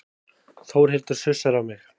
Þórhildur sussar á mig.